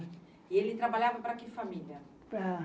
E ele trabalhava para que família? Para